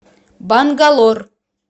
бангалор